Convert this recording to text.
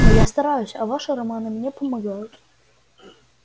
но я стараюсь а ваши романы мне помогают